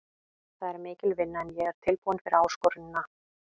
Það er mikil vinna en ég er tilbúinn fyrir áskorunina.